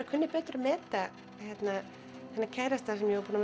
kunni betur að meta þennan kærasta sem ég var búin